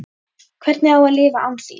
Hvernig á ég að lifa án þín?